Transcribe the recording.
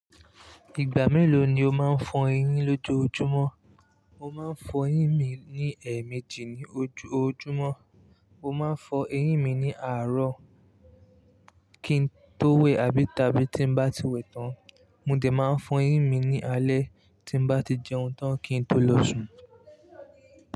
Ìgbà mélòó ni o máa ń fọ eyín lójoojúmọ́? Mo máa ń fọ eyín mi ní ẹ̀ẹ̀mejì ní ojoojúmọ́. Mo máa ń fọ eyín mi ní àárọ̀ kí n tó wẹ̀ àbí tàbí tí n bá ti wẹ̀ tán. Mò dí máa ń fọ eyín mi ní alẹ́ tí n bá ti jẹun tán kí n tó lọ sùn.